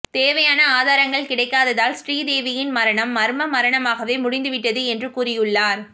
தேவையான ஆதாரங்கள் கிடைக்காததால் ஸ்ரீதேவியின் மரணம் மர்ம மரணமாகவே முடிந்துவிட்டது என்று கூறியுள்ளார்